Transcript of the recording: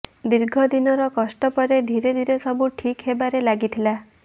ଦୀର୍ଘ ଦିନର କଷ୍ଟ ପରେ ଧୀରେ ଧୀରେ ସବୁ ଠିକ ହେବାରେ ଲାଗିଥିଲା